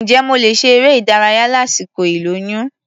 Ǹjẹ́ mo lè ṣe eré-ìdárayá lásìkò ìlóyún?